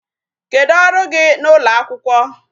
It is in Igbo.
Kedụ ọrụ gị n'ụlọ akwụkwọ?